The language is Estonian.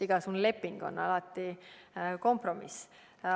Igasugune leping on alati kompromiss.